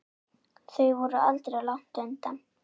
Þau voru aldrei langt undan.